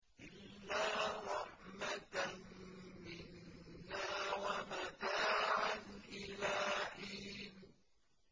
إِلَّا رَحْمَةً مِّنَّا وَمَتَاعًا إِلَىٰ حِينٍ